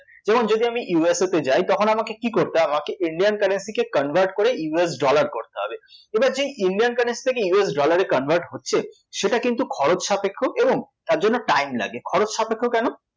যেমন যদি আমি ইউএসএ তে যাই তখন আমাকে কী করতে হবে? আমাকে Indian currency কে convert করে ইউএস dollar করতে হবে, এবার যেই Indian currency টাকে ইউএস dollar এ convert হচ্ছে সেটা কিন্তু খরচসাপেক্ষ এবং তার জন্য time লাগে, খরচসাপেক্ষ কেন?